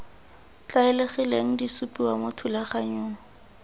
tlwaelegileng di supiwa mo thulaganyong